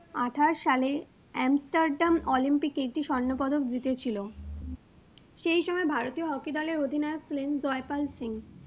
আঠাশ সালে আর্মস্টারডাম অলিম্পিকে একটি স্বর্ণপদক জিতেছিল, সেই সময় ভারতীয় hockey দলের অধিনায়ক ছিলেন জয়পাল সিং।